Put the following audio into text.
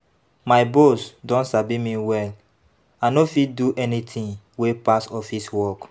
My boss don sabi me well, I no fit do anything wey pass office work